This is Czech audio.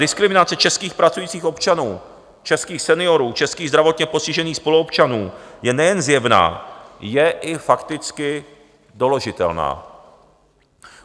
Diskriminace českých pracujících občanů, českých seniorů, českých zdravotně postižených spoluobčanů je nejen zjevná, je i fakticky doložitelná.